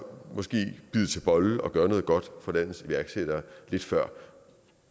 måske bide til bolle og gøre noget godt for landets iværksættere lidt før